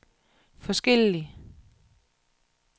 forskellig